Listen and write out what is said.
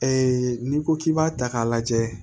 n'i ko k'i b'a ta k'a lajɛ